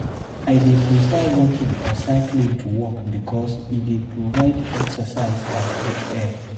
I dey prefer walking or cycling to work because e dey provide exercise and fresh air.